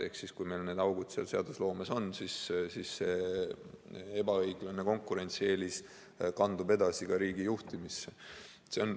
Ehk kui meil need augud seadusloomes on, siis see ebaõiglane konkurentsieelis kandub edasi ka riigi juhtimisse.